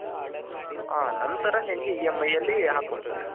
ಹ ನಂತರ ನಿಂಗೆ EMI ಅಲ್ಲಿ ಹಾಕ್ಕೊಡ್ತಾರೆ.